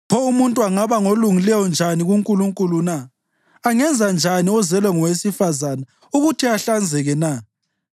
Pho umuntu angaba ngolungileyo njani kuNkulunkulu na? Angenza njani ozelwe ngowesifazane ukuthi ahlanzeke na?